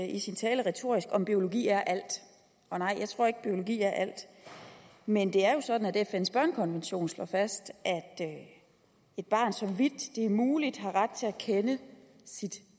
i sin tale retorisk om biologi er alt og nej jeg tror ikke biologi er alt men det er jo sådan at fns børnekonvention slår fast at et barn så vidt det er muligt har ret til at kende sit